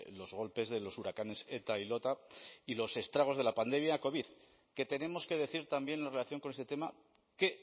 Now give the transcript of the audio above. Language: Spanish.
los golpes de los huracanes eta y lota y los estragos de la pandemia covid que tenemos que decir también en relación con este tema que